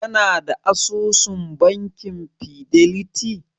Kana da asusun bankin fideliti?